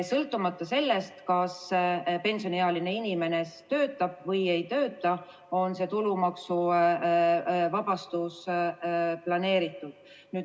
Sõltumata sellest, kas pensioniealine inimene töötab või ei tööta, on see tulumaksuvabastus planeeritud.